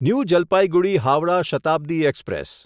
new Jalpaiguri Howrah Shatabdi express